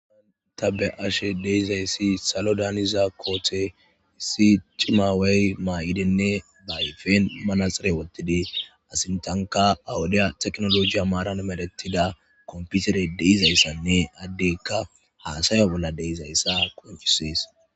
aata be ashe deizayssi salo daaniza koothe isi cimawey maa7idenne baayfen manasare wotidi asintanka awudiya teknolojiya maaran medettida komputere deizayssanne addeykka haasaya bolla deizayssa qonchisees